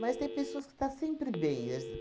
tem pessoas que está sempre bem